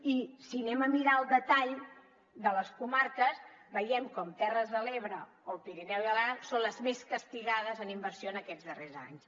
i si anem a mirar el detall de les comarques veiem com terres de l’ebre o pirineu i aran són les més castigades en inversió en aquests darrers anys